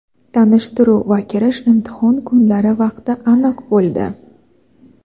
Tanishtiruv va kirish imtihon kunlari vaqti aniq bo‘ldi!.